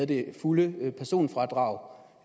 det fulde personfradrag